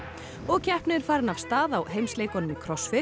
og keppni er farin af stað á heimsleikunum í